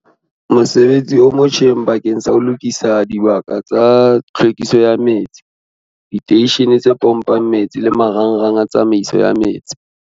Mosebetsi o motjheng bakeng sa ho lokisa dibaka tsa tlhwekiso ya metsi, diteishene tse pompang metsi le marangrang a tsamaiso ya metsi.